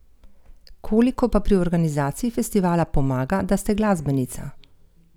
Koliko pa pri organizaciji festivala pomaga, da ste glasbenica?